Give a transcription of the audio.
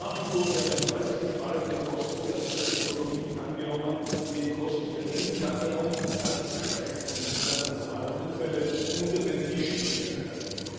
Und nach wie vor werden deutlich fallende Kosten für Atomtechnologien angenommen, indem Kosten für Endlagerung, ganz zu schweigen von jenen atomarer Unfälle, unter den Tisch gekehrt werden.